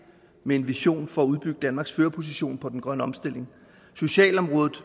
med en vision for at udbygge danmarks førerposition på den grønne omstilling socialområdet